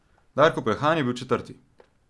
Darko Peljhan je bil četrti.